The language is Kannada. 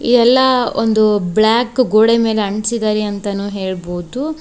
ಎಲ್ಲಾ ಒಂದು ಬ್ಲಾಕ್ ಗೋಡೆ ಮೇಲೆ ಅಂಟಿಸಿದಾರೆ ಅಂತಾಣು ಹೇಳ್ಬೋದು.